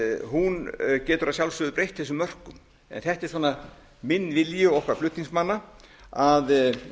stjórnskipunarnefndin getur að sjálfsögðu breytt þessum mörkum en þetta er svona minn vilji og okkar flutningsmanna að